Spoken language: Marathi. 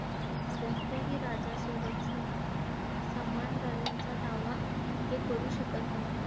कोणत्याही राजासोबत सम दावा ते करु शकत नव्हते.